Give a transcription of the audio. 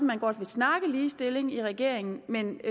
man godt vil snakke ligestilling i regeringen men